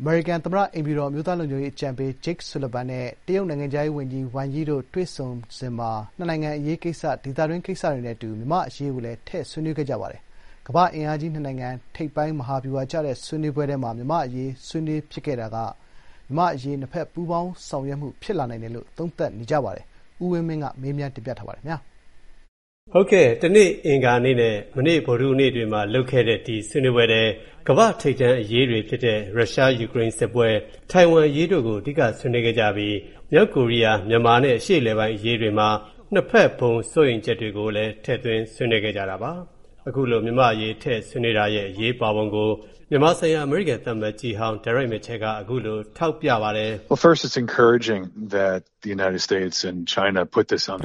အမေရိကန် သမ္မတအိမ်ဖြူတော်အမျိုးသားလုံခြုံရေးအကြံပေး Jake Sullivan နဲ့ တရုတ် နိုင်ငံခြားရေးဝန်ကြီး Wang Yi တို့ တွေ့ဆုံစဉ်မှာ နှစ်နိုင်ငံအရေးကိစ္စ၊ ဒေသတွင်းကိစ္စတွေနဲ့အတူ မြန်မာအရေးကိုလည်း ထည့်ဆွေးနွေးခဲ့ကြပါတယ်။ကမ္ဘာ့အင်အားကြီး နိုင်ငံ ၂ ခုက ထိပ်ပိုင်းမဟာဗျူဟာကျတဲ့ ဆွေးနွေးပွဲထဲမှာ မြန်မာ့အရေးဆွေးနွေးဖြစ်ခဲ့တာက မြန်မာ့အရေးကို နှစ်ဘက် ပူးပေါင်းဆောင်ရွက်မှုတွေ ဖြစ်လာနိုင်တယ်လို့ သုံးသပ်နေကြပါတယ်။ ကိုဝင်းမင်းက မေးထားပါတယ်။ တနေ့ အင်္ဂါနေ့နဲ့ မနေ့ ဗုဒ္ဓဟူးနေ့တွေမှာ လုပ်ခဲ့တဲ့ ဒီဆွေးနွေးပွဲထဲ ကမ္ဘာ့ထိပ်တန်းအရေးတွေဖြစ်တဲ့ ရုရှား-ယူကရိန်းစစ်ပွဲ၊ ထိုင်ဝမ်အရေးတို့ကို အဓိကဆွေးနွေးခဲ့ကြသလို မြောက်ကိုရီးယား၊ မြန်မာနဲ့ အရှေ့အလယ်ပိုင်းအရေးတွေမှာနှစ်ဘက် ဘုံစိုးရိမ်ချက်တွေကိုလည်း ထည့်ဆွေးနွေးခဲ့တာပါ။ အခုလို မြန်မာအရေးထည့်ဆွေးနွေးတာရဲ့ အရေးပါပုံကို မြန်မာဆိုင်ရာ အမေရိကန် သံအမတ်ကြီးဟောင်း Derek Mitchell က အခုလို ထောက်ပြပါတယ်။ “ပ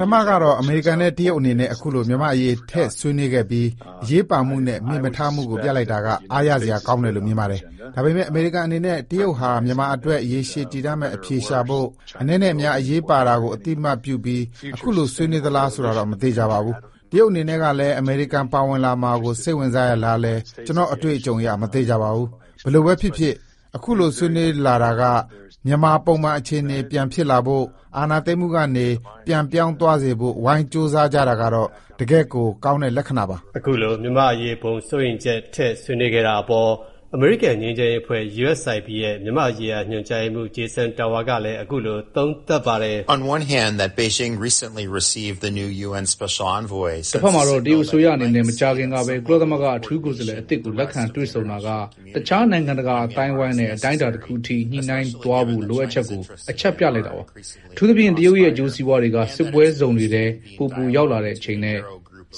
ထမကတော့ အမေရိကန်နဲ့ တရုတ်အနေနဲ့ အခုလို မြန်မာအရေး ထည့်ဆွေးနွေးခဲ့ပြီး အရေးပါမှုနဲ့ မေ့မထားမှုကိုပြလိုက်တာက အားရစရာ ကောင်းတယ်လို့ မြင်ပါတယ်။ ဒါပေမဲ့ အမေရိကန်အနေနဲ့ တရုတ်ဟာ မြန်မာအတွက် ရှေရှည်တည်တံ့မဲ့အဖြေရှာဖို့၊ အနည်းနဲ့အများ အရေးပါတာကို အသိအမှတ်ပြုပြီး အခုလိုဆွေးနွေးသလားဆိုတာတော့ မသေချာပါဘူး။ တရုတ်အနေနဲ့ကလည်း အမေရိကန် ပါဝင်လာမှာကို စိတ်ဝင်စားရဲ့လားလည်း ကျနော့်အတွေ့အကြုံအရ မသေချာပါဘူး။ ဘယ်လိုပဲဖြစ်ဖြစ်ပေါ့နော် သူတို့ ခုလိုဆွေးနွေးလာတာက မြန်မာပုံမှန်အခြေအနေပြန်ဖြစ်လာဖို့၊အာဏာသိမ်းမှုကနေ ပြန်ပြောင်းသွားစေဖို့ ဝိုင်းကြိုးစားကြတာကတော့ တကယ့်ကို ကောင်းတဲ့ လက္ခဏာပါ။” အခုလို မြန်မာ့အရေး ဘုံစိုးရိမ်ချက်ကိုထည့်ဆွေးနွေးခဲ့တာအပေါ် အမေရိကန် ငြိမ်းချမ်းရေးအဖွဲ့ ရဲ့ မြန်မာ့ရေးရာ ညွှန်ကြားရေးမှူး Jason Tower ကလည်း အခုလို သုံးသပ်ပါတယ်။ “တဖက်မှာတော့ တရုတ်အစိုးရအနေနဲ့ မကြာခင်ကပဲ ကုလသမဂ္ဂ အထူးကိုယ်စားလှယ်အသစ်ကို လက်ခံတွေ့ဆုံတာကတခြား နိုင်ငံတကာ အသိုင်းအဝိုင်းနဲ့ အတိုင်းအတာတခုထိ ညှိနှိုင်းသွားဖို့ လိုအပ်ချက်ကို အချက်ပြလိုက်တာပါ။ အထူးသဖြင့် တရုတ်ရဲ့ အကျိုးစီးပွားတွေက စစ်ပွဲဇုံတွေထဲ ပိုပိုရောက်လာတဲ့အချိန်နဲ့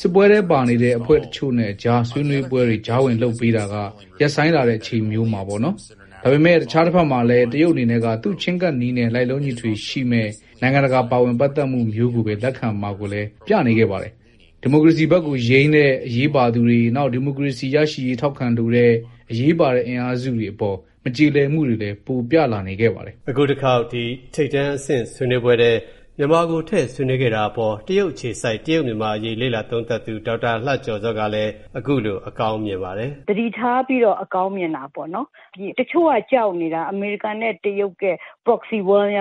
စစ်ပွဲထဲပါနေတဲ့ အဖွဲ့တချိုနဲ့ကြားဆွေးနွေးပွဲတွေ ကြားဝင်လုပ်ပေးတာက ရပ်ဆိုင်းလာတဲ့ချိန်မျိုးမှာ ပေါ့နော်။ ဒါပေမဲ့ တခြားတဖက်မှာလည်း တရုတ်အနေနဲ့က သူ့ချည်းကပ်နည်းနဲ့ လိုက်လျောညီထွေရှိမဲ့ နိုင်ငံတကာပါဝင်ပတ်သက်မှုမျိုးကိုပဲ လက်ခံမှာကိုလည်း ပြသလာနေခဲ့ပါတယ်။ ဒီမိုကရေစီဘက်ကိုယိမ်းတဲ့ အရေးပါသူတွေ၊ နောက် ဒီမိုကရေစီရရှိရေးထောက်ခံလိုတဲ့ အရေးပါတဲ့အင်အားစုတွေအပေါ် မကျေလည်မှုတွေလည်း ပိုပြလာနေခဲ့ပါတယ်။” အခုတခေါက် ဒီ ထိပ်တန်းအဆင့် ဆွေးနွေးပွဲထဲ မြန်မာကို ထည့်ဆွေးနွေးခဲ့တာအပေါ် တရုတ်အခြေစိုက် တရုတ်-မြန်မာအရေး လေ့လာသုံးသပ်သူ ဒေါက်တာ လှကျော်ဇောက အခုလို အကောင်းမြင်ပါတယ်။ “သတိထားပြီးတော့ အကောင်းမြင်တာပေါ့နော်။ တချို့ကကြောက်နေတာ။ အမေရိကန်နဲ့တရုတ် proxy war ဖြ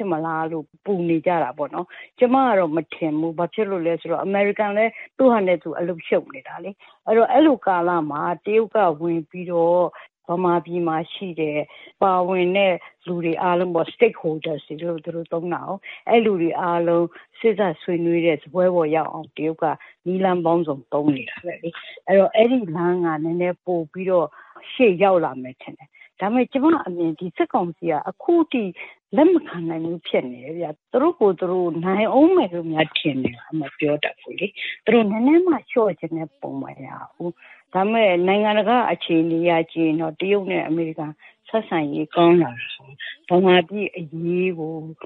စ်မလားလို့ ပူနေကြတာပေ့ါ။ ကျမကတော့ မထင်ဘူး၊ ဘာဖြစ်လို့လဲဆိုတော့ အမေရိကန်လည်း သူ့ဟာနဲ့သူ အလုပ်ရှုပ်နေတာလေ။ အဲဒီတော့ အဲဒီလိုကာလမှာ တရုတ်ကဝင်ပြီးတော့ ဗမာပြည်မှာရှိတဲ့ ပါဝင်တဲ့လူတွေအားလုံးပေါ့- Stakeholders တွေလို့ သူတို့သုံးတာကို၊ အဲဒီလူတွေအားလုံး စေ့စပ်ဆွေးနွေးတဲ့စားပွဲပေါ်ရောက်အောင် တရုတ်က နည်းလမ်းပေါင်းစုံ သုံးနေတာပဲလေ။ အဲဒီတော့ အဲဒီလမ်းက နည်းနည်း ပိုပြီးတော့ ရှေ့ရောက်လာမယ်ထင်တယ်။ ဒါပေမဲ့ ကျမအမြင် စစ်ကောင်စီက အခုထိ လက်မခံနိုင်ဘူးဖြစ်နေတယ်ဗျ၊ သူတို့ကိုယ်သူတို့ နိုင်အုန်းမယ်လို့ ထင်နေလား မပြောတတ်ဘူးလေ၊ သူတို့ နည်းနည်းမှ လျှော့မယ့်ပုံ မရဘူး၊ ဒါပေမဲ့ နိုင်ငံတကာ့အခြေအနေအရ ကြည့်ရင်တော့ တရုတ်နဲ့အမေရိကန်ဆက်ဆံရေးကောင်းလာတာကို မြန်မာပြည့်အရေးကို တ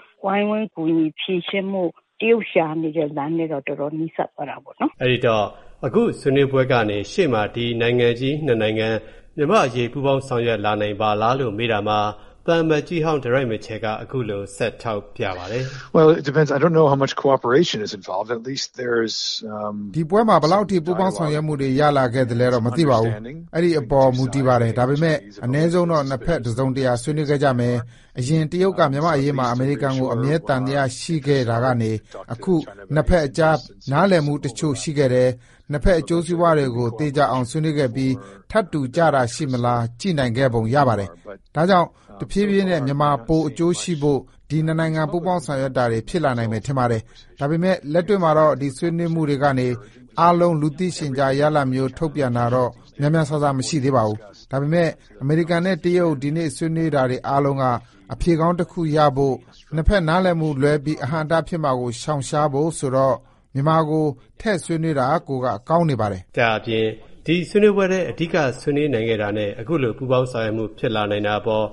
ရုတ်ရှာနေတဲ့လိုင်းထဲတော့ တော်တော်နီးစပ်သွားတာပေါ့နော်။” အဲ့ဒိတော့ အခုဆွေးနွေးပွဲကနေ ရှေ့မှာ ဒီ နိုင်ငံကြီး ၂ နိုင်ငံ မြန်မာ့အရေး ပူးပေါင်းဆောင်ရွက်လာနိုင်ပါလားလို့ မေးတာမှာ သံအမတ်ကြီးဟောင်း Derek Mitchell က အခုလို ဆက်ထောက်ပြပါတယ်။ “ဒီပွဲမှာ ဘယ်လောက်အထိ ပူးပေါင်းဆောင်ရွက်မှုတွေ ရလာခဲ့တာတော့ မသိပါဘူး။ အဲ့ဒိအပေါ် မူတည်ပါတယ်။ ဒါပေမဲ့ အနည်းဆုံးတော့ နှစ် ဖက် တစုံတရာ ဆွေးနွေးကြခဲ့မယ်၊ အရင် တရုတ်က မြန်မာ့အရေးမှာ အမေရိကန်ကို အမြဲ သံသယရှိခဲ့တာကနေ အခုနှစ်ဘက်ကြား နားလည်မှုတချို့ရှိခဲ့တယ်။ နှစ်ဘက် အကျိုးစီးပွားတွေကို သေချာအောင်ဆွေးနွေးခဲ့ပြီး ထပ်တူကျတာရှိမလား ကြည့်နိုင်ခဲ့ပုံရတယ်။ ဒါကြောင့် တဖြည်းဖြည်းနဲ့ မြန်မာ ပို အကျိုးရှိဖို့ ဒီ နှစ်နိုင်ငံပူးပေါင်းဆောင်ရွက်တာတွေဖြစ်လာနိုင်မယ်ထင်တယ်။ ဒါပေမဲ့ လက်တွေ့မှာတော့ ဒီဆွေးနွေးတာတွေကနေ အနည်းဆုံး လူသိရှင်ကြား ရလဒ်မျိုး ထုတ်ပြန်တာတော့ များများစားစား မရှိသေးပါဘူး။ ဒါပေမဲ့ အမေရိကန်နဲ့ တရုတ်ဒီနေ့ဆွေးနွေးနေတာအားလုံးက အဖြေကောင်းတခုရဖို့၊ နှစ်ဖက်နားလည်မှုလွဲပြီး အဟန့်အတားဖြစ်မှာမျိုးကို ရှောင်ဖို့ဆိုတော့ မြန်မာကို ထည့်ဆွေးနွေးဖြစ်တာကိုက ကောင်းနေပါတယ်။” ဒါ့အပြင် ဒီဆွေးနွေးပွဲထဲ အဓိက ဆွေးနွေးနိုင်ခဲ့တာနဲ့ အခုလို ပူးပေါင်းဆောင်ရွက်မှုဖြစ်လာနိုင်တာအပေါ်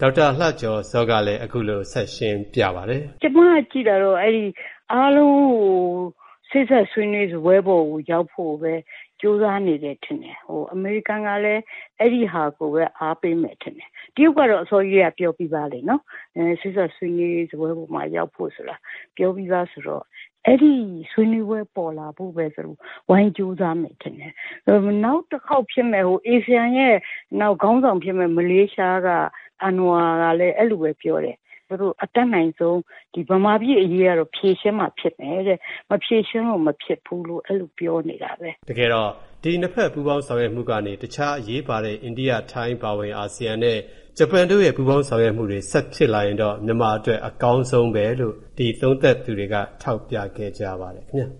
ဒေါက်တာလှကျော်ဇောကလည်း အခုလို ဆက်ရှင်းပြပါတယ်။ “ကျမ ကြည့်တာတော့ အားလုံးကို စေ့စပ်ဆွေးနွေးရေးစားပွဲပေါ်ကိုရောက်ဖို့ပဲ ကြိုးစားနေတယ်ထင်တယ်။ အမေရိကန်ကလည်း အဲဒီဟာကိုပဲ အားပေးမယ်ထင်တယ်။ တရုတ်ကတော့ အစောကြီးကတည်းက ပြောပြီးသားပဲနော်၊ စေ့စပ်ဆွေးနွေးရေးစားပွဲပေါ်မှာရောက်ဖို့ဆိုတာ ပြောပြီးသားဆိုတော့ အဲဒီဆွေးနွေးပွဲပေါ်လာဖို့ပဲ ဝိုင်းကြိုးစားမယ်ထင်တယ်။ နောက်တခေါက် ASEAN ရဲ့ခေါင်းဆောင်ဖြစ်မယ့် မလေးရှားက အဏ္ဏဝါကလည်း အဲလိုပဲပြောတယ်။ သူတို့ အတတ်နိုင်ဆုံး ဒီ ဗမာပြည့်အရေးကတော့ ဖြေရှင်းမှဖြစ်မယ်-တဲ့။ မဖြေရှင်းလို့မဖြစ်ဘူးလို့ အဲလိုပြောနေတာပဲ။” တကယ်တော့ ဒီနှစ်ဘက်ပူးပေါင်းဆောင်ရွက်မှုကနေ တခြား အရေးပါတဲ့ အိန္ဒိယ၊ ထိုင်းအပါအဝင် အာဆီယံနဲ့ ဂျပန်တို့ရဲ့ ပူးပေါင်း ဆောင်ရွက်မှုတွေ ဆက်ဖြစ်လာရင်တော့ မြန်မာအတွက် အကောင်းဆုံးပဲလို့ ဒီသုံးသပ်သူတွေက ထောက်ပြခဲ့ကြပါတယ် ခင်ဗျ